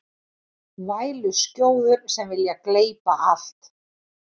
Væluskjóður sem vilja gleypa allt